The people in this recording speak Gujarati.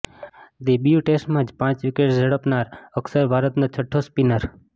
ડેબ્યૂ ટેસ્ટમાં જ પાંચ વિકેટ ઝડપનાર અક્ષર ભારતનો છઠ્ઠો સ્પિનર